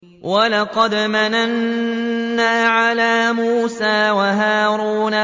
وَلَقَدْ مَنَنَّا عَلَىٰ مُوسَىٰ وَهَارُونَ